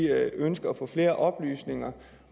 ønsker at få flere oplysninger